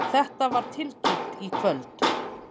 Þetta var tilkynnt í kvöld